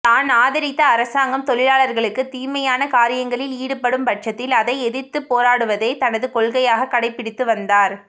தான் ஆதரித்த அரசாங்கம் தொழிலாளர்களுக்கு தீமையான காரியங்களில் ஈடுபடும் பட்சத்தில் அதை எதிர்த்துப்போராடுவதே தனது கொள்கையாக கடைபிடித்து வந்தார்